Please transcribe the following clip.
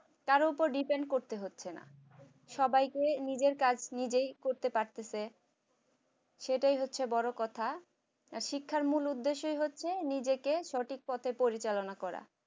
কারোর উপর depend করতে হচ্ছে না সবাইকে নিজের কাজ নিজেই করতে পারতেছে সেটাই হচ্ছে বড় কথা শিক্ষার মূল উদ্দেশ্য হচ্ছে নিজেকে সঠিক পথে পরিচালনা করা